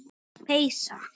Þessi peysa!